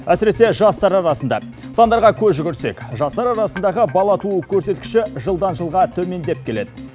әсіресе жастар арасында сандарға көз жүгіртсек жастар арасындағы бала туу көрсеткіші жылдан жылға төмендеп келеді